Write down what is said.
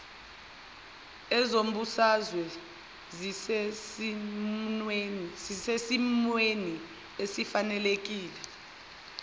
ezombusazwe zisesimweni esifanelekile